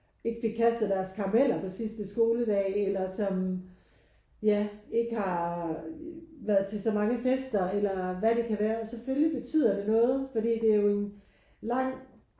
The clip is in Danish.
Ikke fik kastet deres karameller på sidste skoledag eller som ja ikke har været til så mange fester eller hvad det kan være. Og selvfølgelig betyder det noget fordi det er jo en lang